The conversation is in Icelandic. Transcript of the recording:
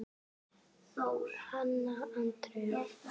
Hanna Andrea.